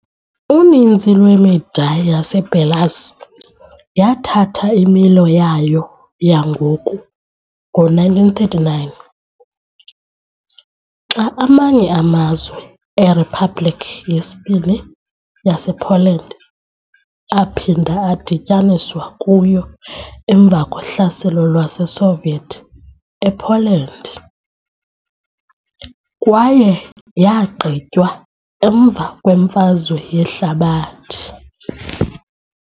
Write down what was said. Uninzi lwemida yaseBelarus yathatha imilo yayo yangoku ngo-1939, xa amanye amazwe eRiphabhlikhi yesiBini yasePoland aphinda adityaniswa kuyo emva kohlaselo lwaseSoviet ePoland, kwaye yagqitywa emva kweMfazwe Yehlabathi.